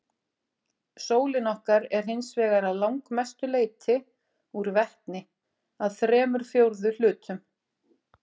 Sólin okkar er hins vegar að langmestu leyti úr vetni, að þremur fjórðu hlutum.